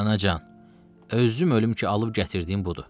Anacan, özüm ölüm ki, alıb gətirdiyim budur.